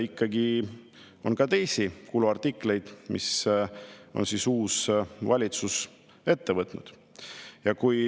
Ikkagi on teisigi kuluartikleid, mis uus valitsus on ette võtnud.